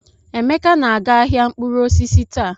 Emeka na-aga ahịa mkpụrụ osisi taa.